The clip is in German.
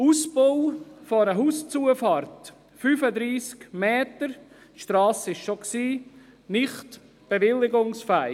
Der Ausbau eine Hauszufahrt, 35 Meter bei bestehender Strasse, ist nicht bewilligungsfähig.